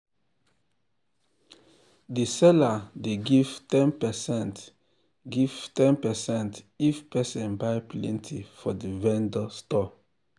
the seller dey give ten percent if give ten percent if person buy plenty for the vendor store